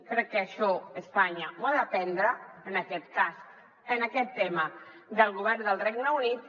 crec que això espanya ho ha d’aprendre en aquest cas en aquest tema del govern del regne unit